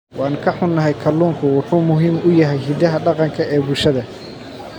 Waan ka xunnahay, kalluunku wuxuu muhiim u yahay hiddaha dhaqanka ee bulshada.